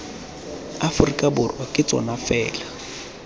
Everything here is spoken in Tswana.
aforika borwa ke tsona fela